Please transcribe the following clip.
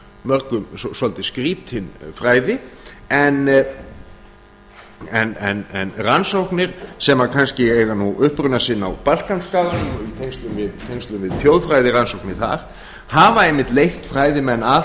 mörgum svolítið skrýtin fræði en rannsóknir sem kannski eiga nú uppruna sinn á balkanskaganum og í tengslum við þjóðfræðirannsóknir þar hafa einmitt leitt fræðimenn að